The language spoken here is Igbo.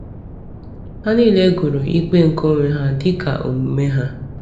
Ha niile gụrụ ikpe nke onwe ha dịka omume ha.